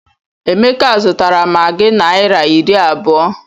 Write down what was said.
Emeka zụtara maggi naira iri abụọ.